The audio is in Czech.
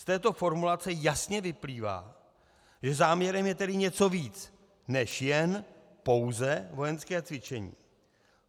Z této formulace jasně vyplývá, že záměrem je tedy něco víc než jen, pouze, vojenské cvičení.